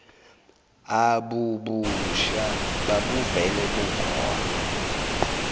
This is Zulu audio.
abubusha babuvele bukhona